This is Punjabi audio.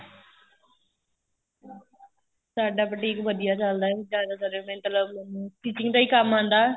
ਸਾਡਾ boutique ਵਧੀਆ ਚੱਲਦਾ ਏ ਜਿਆਦਾਤਰ ਮੈਨੂੰ ਤਾਂ stitching ਦਾ ਹੀ ਕੰਮ ਆਂਦਾ